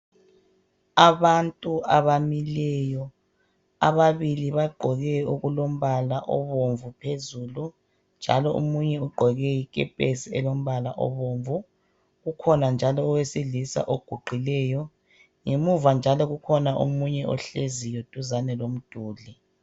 Abantu abamileyo ababili bagqoke okulombala obomvu phezulu njalo omunye ugqoke ikepesi elombala obomvu. Ukhona njalo owesilisa oguqileyo. Ngemuva njalo kukhona omunye ohleziyo duzane lomduli.